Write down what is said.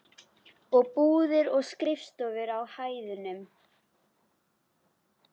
Og búðir og skrifstofur á hæðunum.